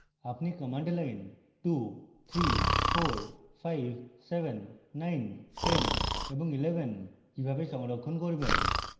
আপনি command lines 2 3 4 5 7 9 10 এবং 11 কিভাবে সংরক্ষণ করবেন